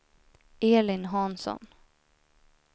Elin Hansson